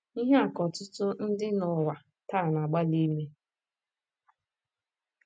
Ihe a ka ọtụtụ ndị n’ụwa taa na - agbalị ime.